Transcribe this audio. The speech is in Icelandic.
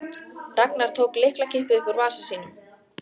Ragnar tók lyklakippu upp úr vasa sínum.